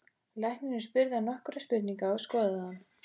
Læknirinn spurði hann nokkurra spurninga og skoðaði hann.